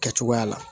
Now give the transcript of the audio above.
Kɛcogoya la